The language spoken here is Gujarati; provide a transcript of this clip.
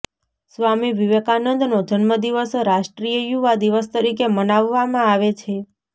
સ્વામી વિવેકાનંદનો જન્મદિવસ રાષ્ટ્રીય યુવા દિવસ તરીકે મનાવવામાં આવે છે